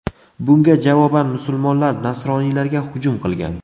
Bunga javoban musulmonlar nasroniylarga hujum qilgan.